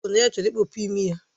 O kwuru na ya chọrọ ịkpọpu imi ya